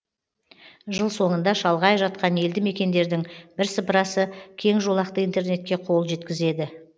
жыл соңында шалғай жатқан елді мекендердің бірсыпырасы кеңжолақты интернетке қол жеткізеді